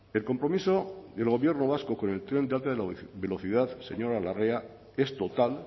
el compromiso del gobierno vasco con el tren de alta velocidad señora larrea es total